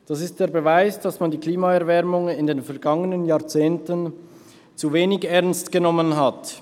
Das ist der Beweis, dass man die Klimaerwärmung in den vergangenen Jahrzehnten zu wenig ernst genommen hat.